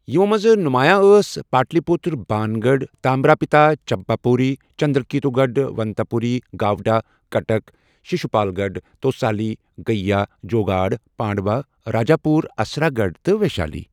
یِمو منٛزٕ نُمایاں ٲس ،Pataliputra, Bangarh, Tamralipta, Champapuri, Chandraketugarh, Dantapuri, Gauda, Cuttack, Sisupalgarh, Tosali, Gaya, Jaugada, Pandua, Rajapur, Asurgarh تہٕ ویشالی ۔